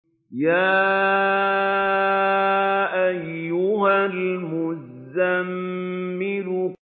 يَا أَيُّهَا الْمُزَّمِّلُ